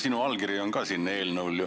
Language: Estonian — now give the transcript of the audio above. Sinu allkiri on ka ju sellel eelnõul.